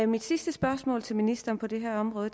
mit sidste spørgsmål til ministeren på det her område